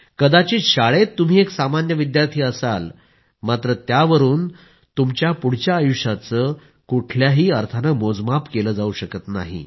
कदाचित शाळेत तुम्ही एक सामान्य विद्यार्थी असाल मात्र त्यावरून तुमच्या पुढच्या आयुष्याचे कुठल्याही अर्थाने मोजमाप केले जाऊ शकत नाही